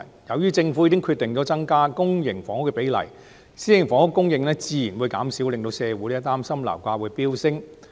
由於政府決定增加公營房屋的比例，私營房屋供應自然會減少，社會擔心這會令樓價飆升。